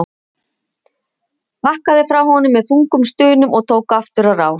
Bakkaði frá honum með þungum stunum og tók aftur á rás.